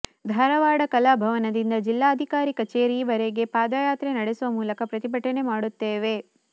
ಧಾರವಾಡ ಕಲಾಭವನದಿಂದ ಜಿಲ್ಲಾಧಿಕಾರಿ ಕಚೇರಿವರೆಗೆ ಪಾದಯಾತ್ರೆ ನಡೆಸುವ ಮೂಲಕ ಪ್ರತಿಭಟನೆ ಮಾಡುತ್ತೇವೆ